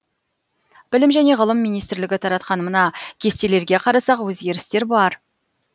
білім және ғылым министрлігі таратқан мына кестелерге қарасақ өзгерістер бар